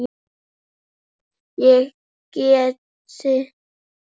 Ég gæti þess.